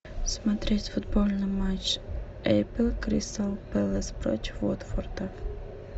смотреть футбольный матч апл кристал пэлас против уотфорда